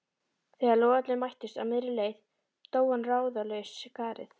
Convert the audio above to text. Þegar logarnir mættust á miðri leið dó hann ráðalaus skarið